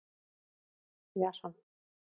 Jason